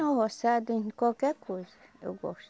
No roçado, em qualquer coisa eu gosto.